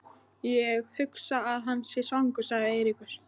Ég hugsa að hann sé svangur sagði Eiríkur.